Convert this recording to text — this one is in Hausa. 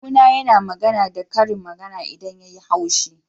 Kawu na yana magana da karin magana idan ya yi haushi.